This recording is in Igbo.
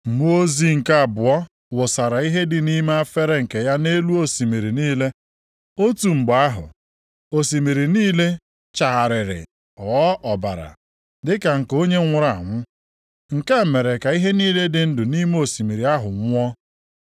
Mmụọ ozi nke abụọ wụsara ihe dị nʼime efere nke ya nʼelu osimiri niile. Otu mgbe ahụ, osimiri niile chagharịrị ghọọ ọbara dịka nke onye nwụrụ anwụ. Nke a mere ka ihe niile dị ndụ nʼime osimiri ahụ nwụọ.